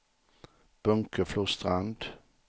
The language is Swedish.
Bunkeflostrand